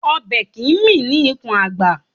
Ọbẹ̀ kìí mì ní ikùn àgbà